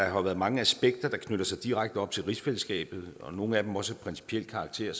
jo har været mange aspekter der knytter sig direkte op til rigsfællesskabet nogle af dem er også af principiel karakter